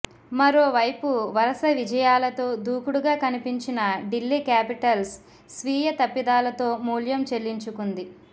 మరోవైపు వరస విజయాలతో దూకుడుగా కనిపించిన ఢిల్లీ క్యాపిటల్స్ స్వీయ తప్పిదాలతో మూల్యం చెల్లించుకుంది